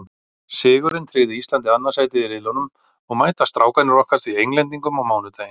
Sigurinn tryggði Íslandi annað sætið í riðlinum og mæta Strákarnir okkar því Englendingum á mánudaginn.